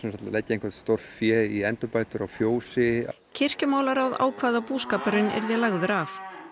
leggja stórfé í endurbætur á fjósi ákvað að búskapurinn yrði lagður af